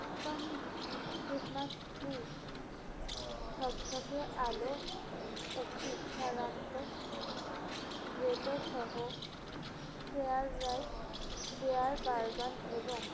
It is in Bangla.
তম christmas tree ঝকঝকে আলো একটি সারান্ত গ্রেটোসহ fair light bare burgan এবং